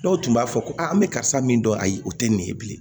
Dɔw tun b'a fɔ ko aa n bɛ karisa min dɔn ayi o tɛ nin ye bilen